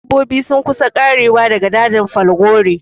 Dabbobi sun kusa ƙarewa daga dajin falgore